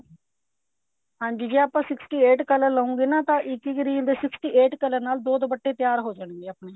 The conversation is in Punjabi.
ਹਾਂਜੀ ਜੇ ਆਪਾਂ sixty eight color ਲੋਗੇ ਨਾ ਤਾਂ ਇੱਕ ਇੱਕ ਰੀਲ ਦੇ sixty eight color ਨਾਲ ਦੋ ਦੁਪੱਟੇ ਤਿਆਰ ਹੋ ਜਾਣਗੇ ਆਪਣੇ